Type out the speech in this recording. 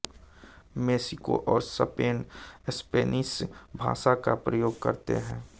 Mexico और Spain Spanish भाषा का प्रयोग करते हैं